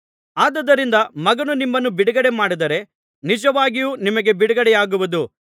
ಆದುದರಿಂದ ಮಗನು ನಿಮ್ಮನ್ನು ಬಿಡುಗಡೆ ಮಾಡಿದರೆ ನಿಜವಾಗಿಯೂ ನಿಮಗೆ ಬಿಡುಗಡೆಯಾಗುವುದು